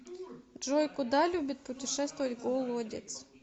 джой куда любит путешествовать голодец